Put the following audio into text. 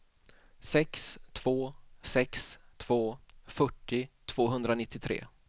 sex två sex två fyrtio tvåhundranittiotre